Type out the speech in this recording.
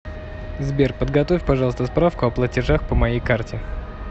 сбер подготовь пожалуйста справку о платежах по моей карте